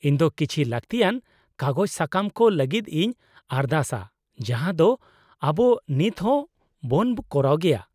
-ᱤᱧ ᱫᱚ ᱠᱤᱪᱷᱤ ᱞᱟᱹᱠᱛᱤᱭᱟᱱ ᱠᱟᱜᱚᱡᱽ ᱥᱟᱠᱟᱢ ᱠᱚ ᱞᱟᱹᱜᱤᱫ ᱤᱧ ᱟᱨᱫᱟᱥᱟ ᱡᱟᱦᱟᱸ ᱫᱚ ᱟᱵᱚ ᱱᱤᱛ ᱦᱚᱸ ᱵᱚᱱ ᱠᱚᱨᱟᱣ ᱜᱮᱭᱟ ᱾